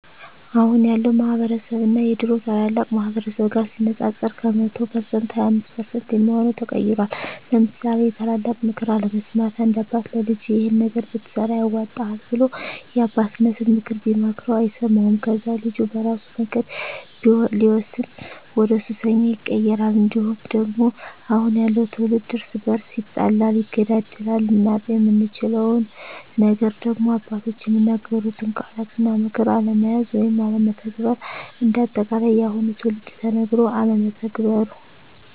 አሁን ያለው ማህበረስብ እና የድሮ ታላላቅ ማህበረሰብ ጋር ሲነፃፀር ከ100% 25% የሚሆው ተቀይሯል ለምሳሌ የታላላቅ ምክር አለመስማት፦ አንድ አባት ለልጁ ይሄን ነገር ብትሰራ ያዋጣሀል ብሎ የአባቴነተን ምክር ቢመክረው አይሰማውም ከዛ ልጁ በራሱ መንገድ ሲወስን ወደሱሰኛ ይቀየራል። እንዲሁም ደግሞ አሁን ያለው ትውልድ እርስ በርሱ ይጣላል ይገዳደላል። ልናጣው የምንችለው ነገር ደግሞ አባቶች የሚናገሩትን ቃላት እና ምክር አለመያዝ ወይም አለመተግበር። እንደ አጠቃላይ የአሁኑ ትውልድ ተነገሮ አለመተግበሩ